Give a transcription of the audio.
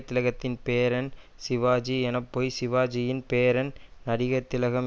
திலகத்தின் பேரன் சிவாஜி என்பது பொய் சிவாஜியின் பேரன்தான் நடிகர்திலகம்